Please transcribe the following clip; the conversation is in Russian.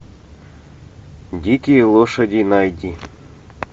дикие лошади найди